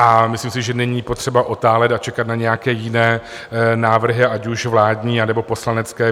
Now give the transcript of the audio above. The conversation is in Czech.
A myslím si, že není potřeba otálet a čekat na nějaké jiné návrhy, ať už vládní, anebo poslanecké.